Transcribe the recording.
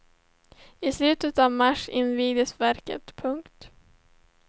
I slutet av mars invigs verket. punkt